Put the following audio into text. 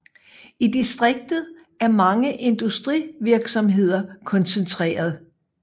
I distriktet er mange industrivirksomheder koncentreret